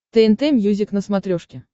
тнт мьюзик на смотрешке